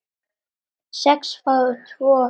sex fái tvo hver